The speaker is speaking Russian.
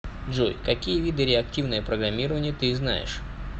джой какие виды реактивное программирование ты знаешь